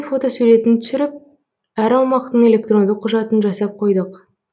фотосуретін түсіріп әр аумақтың электрондық құжатын жасап қойдық